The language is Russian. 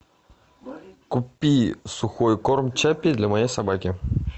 купи сухой корм чаппи для моей собаки